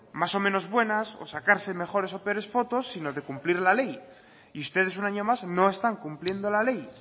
más o menos buenas o sacarse mejores o peores fotos sino de cumplir la ley y ustedes un año más no están cumpliendo la ley